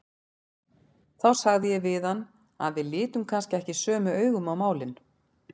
Þá sagði ég við hann að við litum kannski ekki sömu augum á málin.